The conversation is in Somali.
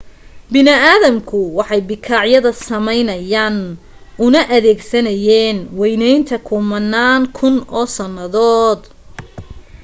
bini aadamku waxay bikaacyada sameynayeen una adeegsanayeen waynaynta kumanaan kun oo sannadood